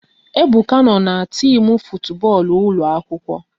Ebuka no n'timu futu bọọlụ ụlọ akwụkwọ